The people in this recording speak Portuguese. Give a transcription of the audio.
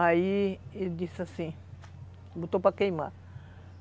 Aí ele disse assim, botou para queimar.